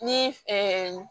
Ni